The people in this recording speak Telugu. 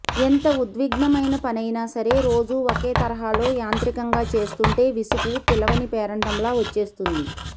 ఎంత ఉద్విగ్నమైన పనైనా సరే రోజూ ఒకే తరహాలో యాంత్రికంగా చేస్తుంటే విసుగు పిలవని పేరంటంలా వచ్చేస్తుంది